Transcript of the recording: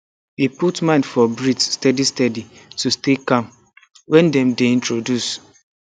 e put mind for breathe steady steady to stay calm when dem dey introduce